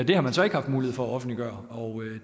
det har man så ikke haft mulighed for at offentliggøre